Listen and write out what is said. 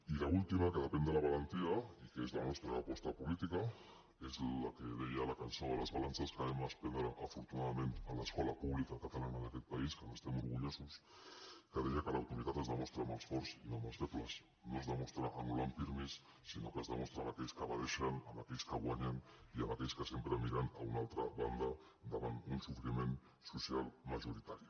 i l’última que depèn de la valentia i que és la nostra aposta política és la que deia la cançó de les balances que vam aprendre afortunadament a l’escola pública catalana d’aquest país que n’estem orgullosos que deia que l’autoritat es demostra amb els forts i no amb els febles no es demostra anul·lant pirmi sinó que es demostra amb aquells que evadeixen amb aquells que guanyen i amb aquells que sempre miren a una altra banda davant un sofriment social majoritari